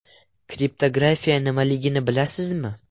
Kriptografiya nimaligini bilasizmi?